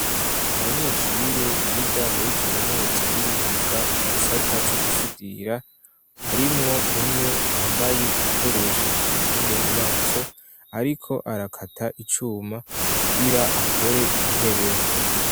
Abanyeshure biga muri kaminuza y'imyuga mu gisata co gusudira harimwo umwe yambaye igikoresho kimukingira mu maso ariko arakata icuma kugira akore intebe.